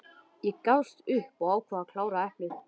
Ég gafst upp og ákvað að klára eplið.